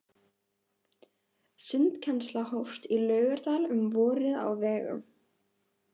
Sundkennsla hófst í Laugardal um vorið á vegum